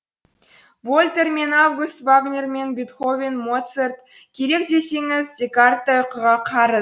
вольтер мен август вагнер мен бетховен моцарт керек десеңіз декарт та ұйқыға қарыз